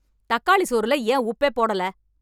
தக்காளி சோறுல ஏன் உப்பே போடல?